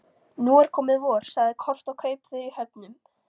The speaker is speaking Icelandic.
Nú er komið vor, sagði Kort og kaupför í höfnum.